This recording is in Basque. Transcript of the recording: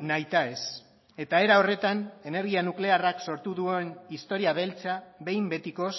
nahita ez eta era horretan energia nuklearrak sortu duen historia beltza behin betikoz